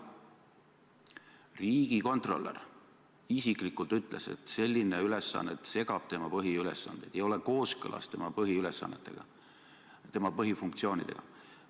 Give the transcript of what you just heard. Riigikontrolör isiklikult ütles, et selline ülesanne segab tema põhiülesandeid, see ei ole kooskõlas tema põhifunktsioonidega.